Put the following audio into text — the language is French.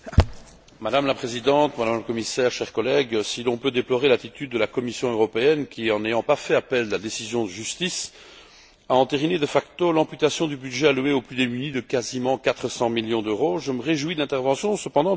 Madame la Présidente, Madame la Commissaire, chers collègues, si l'on peut déplorer l'attitude de la Commission européenne qui, en n'ayant pas fait appel de la décision de justice, a entériné de facto l'amputation du budget alloué aux plus démunis de quasiment 400 millions d'euros, je me réjouis, cependant, de l'intervention qu'a faite M.